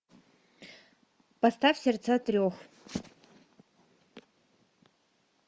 поставь сердца трех